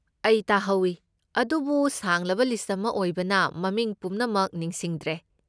ꯑꯩ ꯇꯥꯍꯧꯏ ꯑꯗꯨꯕꯨ ꯁꯥꯡꯂꯕ ꯂꯤꯁꯠ ꯑꯃ ꯑꯣꯏꯕꯅ ꯃꯃꯤꯡ ꯄꯨꯝꯅꯃꯛ ꯅꯤꯡꯁꯤꯡꯗ꯭ꯔꯦ꯫